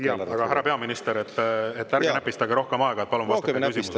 Härra peaminister, ärge näpistage rohkem aega, palun vastake küsimusele.